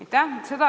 Aitäh!